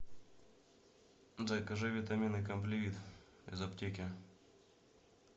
закажи витамины компливит из аптеки